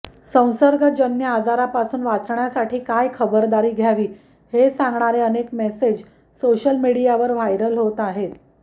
संसर्गजन्य आजारापासून वाचण्यासाठी काय खबरदारी घ्यावी हे सांगणारे अनेक मेसेज सोशल मीडियावर व्हायरल होत आहेत